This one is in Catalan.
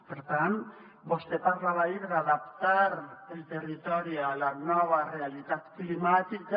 per tant vostè parlava ahir d’adaptar el territori a la nova realitat climàtica